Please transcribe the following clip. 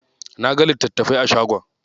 Naga littatafai a shagon.